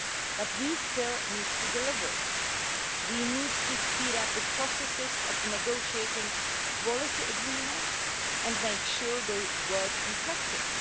But we still need to deliver we need to speed up the processes of negotiating quality agreements and make sure they work in practice.